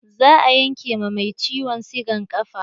Za a yanke ma mai ciwon sigan ƙafa.